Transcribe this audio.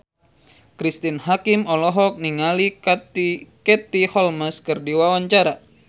Cristine Hakim olohok ningali Katie Holmes keur diwawancara